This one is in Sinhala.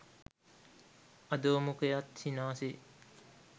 අධෝ මුඛයත් සිනාසේ